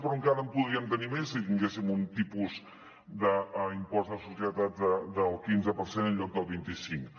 però encara en podríem tenir més si tinguéssim un tipus d’impost de societats del quinze per cent en lloc del vint i cinc